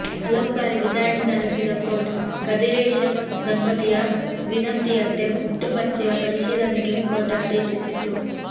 ಹಲವು ಬಾರಿ ವಿಚಾರಣೆ ನಡೆಸಿದ ಕೋರ್ಟ್ ಕದಿರೇಷನ್ ದಂಪತಿಯ ವಿನಂತಿಯಂತೆ ಹುಟ್ಟುಮಚ್ಚೆಯ ಪರಿಶಿಲನೆಗೆ ಕೋರ್ಟ್ ಆದೇಶಿಸಿತ್ತು